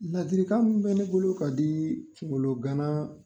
Ladiri min bɛ ne bolo ka di kunkolo ganna